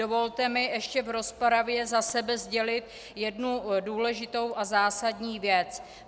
Dovolte mi ještě v rozpravě za sebe sdělit jednu důležitou a zásadní věc.